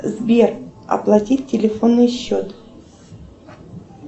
сбер оплатить телефонный счет